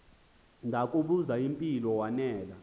ndakubuz impilo wanela